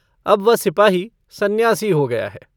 अब वह सिपाही संन्यासी हो गया है।